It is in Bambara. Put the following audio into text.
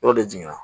Yɔrɔ de jiginna